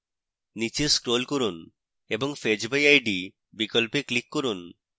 নীচে scroll করুন এবং fetch by id বিকল্পে click করুন